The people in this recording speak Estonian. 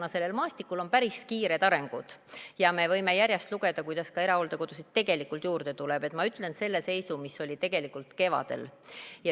Kuna sellel maastikul on päris kiired arengud ja me võime järjest lugeda, kuidas ka erahooldekodusid tegelikult juurde tuleb, siis ma ütlen selle seisu, mis oli kevadel.